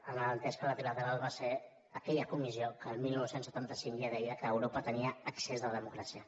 amb l’entès que la trilateral va ser aquella comissió que el dinou setanta cinc ja deia que europa tenia excés de democràcia